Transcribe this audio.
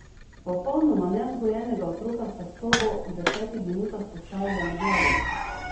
Popolnoma nevzgojena otroka sta sobo v desetih minutah postavila na glavo!